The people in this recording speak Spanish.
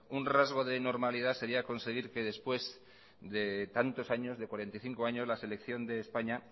un rasgo de normalidad sería conseguir que después de tantos años de cuarenta y cinco años la selección de españa